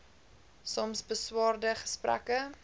soms beswaarde gesprekke